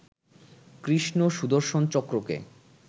কৃষ্ণ সুদর্শন চক্রকে